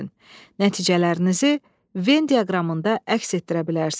Nəticələrinizi Ven diaqramında əks etdirə bilərsiz.